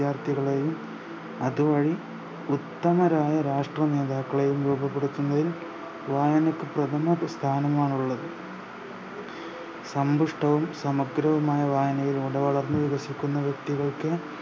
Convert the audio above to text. വിദ്യാർത്ഥികളെയും അത് വഴി ഉത്തമരായ രാഷ്ട്രീയ നേതാക്കളെയും രൂപപ്പെടുത്തുന്നതിൽ വായനക്ക് പ്രധമ പ് സ്ഥാനമാണുള്ളത് സന്തുഷ്ട്ടവും സമഗ്രവുമായ വായനയിലൂടെ വളർന്നു വികസിക്കുന്ന വ്യക്തികൾക്ക്